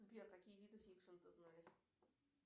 сбер какие виды фикшн ты знаешь